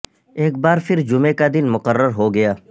ایک بار پھر جمعے کا دن مقرر ہو گیا